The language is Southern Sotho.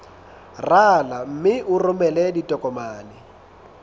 rala mme o romele ditokomene